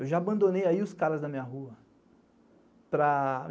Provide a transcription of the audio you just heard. Eu já abandonei os caras da minha rua.